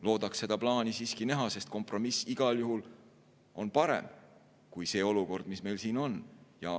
Loodan seda plaani siiski näha, sest kompromiss on igal juhul parem kui see olukord, mis meil praegu on.